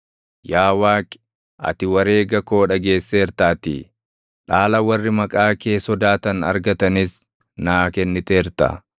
Yaa Waaqi, ati wareega koo dhageesseertaatii; dhaala warri maqaa kee sodaatan argatanis naa kenniteerta.